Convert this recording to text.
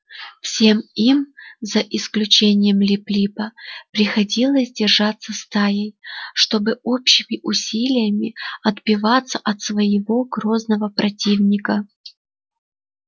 всем им за исключением лип липа приходилось держаться стаей чтобы общими усилиями отбиваться от своего грозного противника